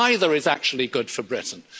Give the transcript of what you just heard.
anymore. Neither is actually good for